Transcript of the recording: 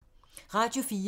Radio 4